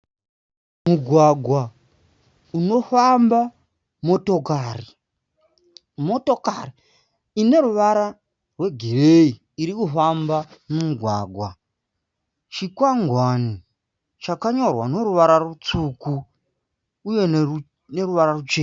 Mugwagwa unofamba motokari. Motokari ine ruvara rwegireyi iri kufamba mumugwagwa. Chikwangwani chakanyorwa neruvara rutsvuku uye neruvara ruchena.